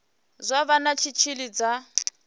zwa vha na tshitshili tsha